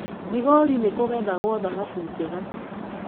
Migori nĩ kũgethagwo thahabu njega.